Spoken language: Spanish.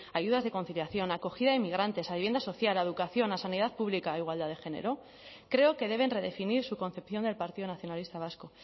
ayudas de conciliación acogida emigrantes a vivienda social la educación la sanidad pública e igualdad de género creo que deben redefinir su concepción del partido nacionalista vasco